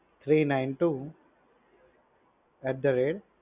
three nine two at the rate